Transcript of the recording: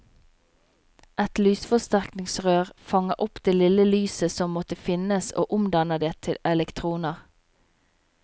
Et lysforsterkningsrør fanger opp det lille lyset som måtte finnes og omdanner det til elektroner.